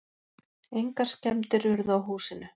Engar skemmdir urðu á húsinu.